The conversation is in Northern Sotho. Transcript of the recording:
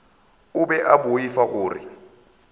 o be a boifa gore